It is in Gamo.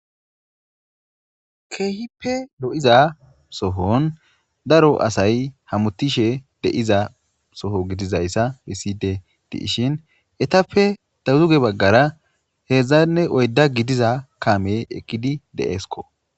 Keehipe lo'iza sohon daro asay hamutishe deiza soho gidizayssa biside diishin etappe dawuzuge baggara heedzdzanne oyda gidiza kame eqqidi deeesko